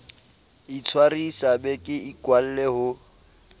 itshwarisa be ke ikwalle ho